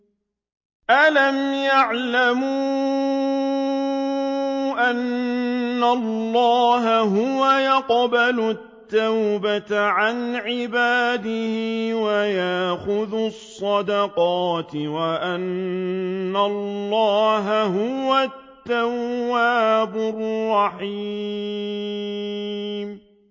أَلَمْ يَعْلَمُوا أَنَّ اللَّهَ هُوَ يَقْبَلُ التَّوْبَةَ عَنْ عِبَادِهِ وَيَأْخُذُ الصَّدَقَاتِ وَأَنَّ اللَّهَ هُوَ التَّوَّابُ الرَّحِيمُ